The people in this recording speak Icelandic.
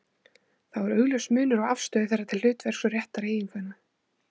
Þá er augljós munur á afstöðu þeirra til hlutverks og réttar eiginkvenna.